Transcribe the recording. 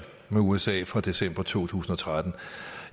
med usa fra december to tusind og tretten